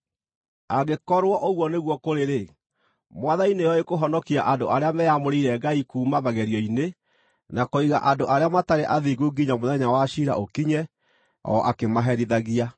angĩkorwo ũguo nĩguo kũrĩ-rĩ, Mwathani nĩoĩ kũhonokia andũ arĩa meamũrĩire Ngai kuuma magerio-inĩ, na kũiga andũ arĩa matarĩ athingu nginya mũthenya wa ciira ũkinye, o akĩmaherithagia.